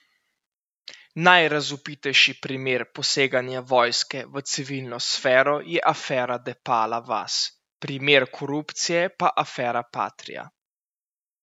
Najrazvpitejši primer poseganja vojske v civilno sfero je afera Depala vas, primer korupcije pa afera patria.